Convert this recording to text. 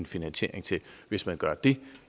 finansiering til hvis man gør det